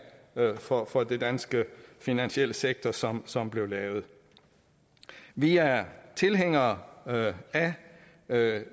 for for den danske finansielle sektor som som blev lavet vi er tilhængere af af